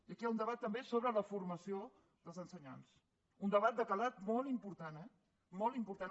i aquí hi ha un debat també sobre la formació dels ensenyants un debat de calat molt important eh molt important